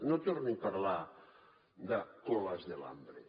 no torni a parlar de colas del hambre